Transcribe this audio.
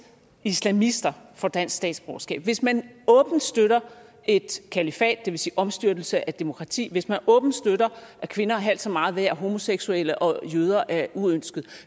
islamister får dansk statsborgerskab hvis man åbent støtter et kalifat det vil sige omstyrtelse af demokrati hvis man åbent støtter at kvinder er halvt så meget værd og homoseksuelle og jøder er uønskede